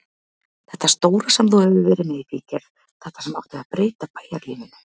Þetta stóra sem þú hefur verið með í bígerð, þetta sem átti að breyta bæjarlífinu.